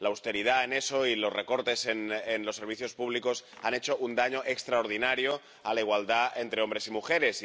La austeridad y los recortes en los servicios públicos han hecho un daño extraordinario a la igualdad entre hombres y mujeres.